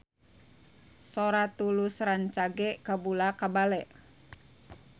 Sora Tulus rancage kabula-bale